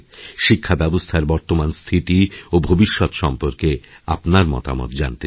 শিক্ষাব্যবস্থার বর্তমান স্থিতি ওভবিষ্যত সম্পর্কে আপনার মতামত জানতে চাই